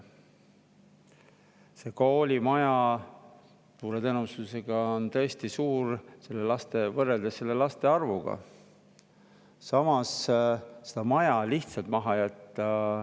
Suure tõenäosusega on see koolimaja tõesti suur, laste arvu, aga samas ei saa seda maja ka lihtsalt maha jätta.